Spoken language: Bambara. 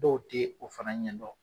Dɔw ti o fana ɲɛdɔn